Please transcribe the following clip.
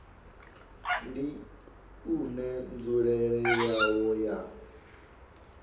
ndi une nzulele yawo ya